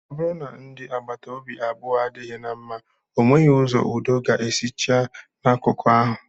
Ọ bụrụ na ndị agbata obi abụọ adịghị na mma, ọ nweghị ụzọ udo ga-esi chịa n'akụkụ ahụ